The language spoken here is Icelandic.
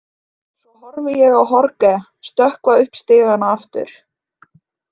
Svo horfi ég á Jorge stökkva upp stigana aftur.